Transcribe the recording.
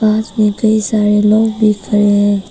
पास में ढेर सारे लोग दिख रहे हैं।